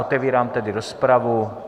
Otevírám tedy rozpravu.